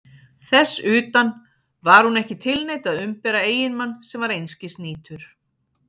Þess utan: var hún ekki tilneydd að umbera eiginmann sem var einskis nýtur?